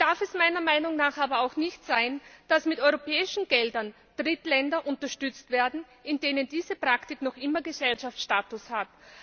Hier darf es meiner Meinung nach aber auch nicht sein, dass mit europäischen Geldern Drittstaaten unterstützt werden, in denen diese Praktik noch immer Gesellschaftsstatus hat.